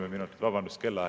Kolm minutit, vabandust!